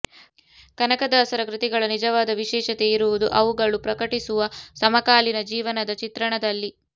ಕನಕದಾಸರ ಕೃತಿಗಳ ನಿಜವಾದ ವಿಶೇಷತೆ ಇರುವುದು ಅವುಗಳು ಪ್ರಕಟಿಸುವ ಸಮಕಾಲೀನ ಜೀವನದ ಚಿತ್ರಣದಲ್ಲಿ